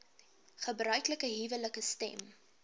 gebruiklike huwelike stem